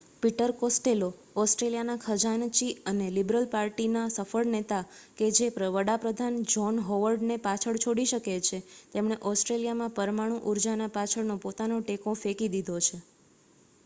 Peter Costello ઓસ્ટ્રેલિયાના ખજાનચી અને લિબરલ પાર્ટીના સફળ નેતા કે જે વડા પ્રધાન જ્હોન હોવર્ડ ને પાછળ છોડી શકે છે તેમણે ઓસ્ટ્રેલિયામાં પરમાણુ ઉર્જા પાછળનો પોતાનો ટેકો ફેંકી દીધો છે